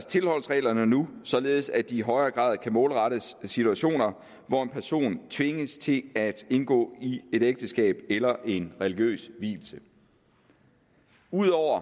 tilholdsreglerne nu således at de i højere grad kan målrettes situationer hvor en person tvinges til at indgå i et ægteskab eller at en religiøs vielse ud over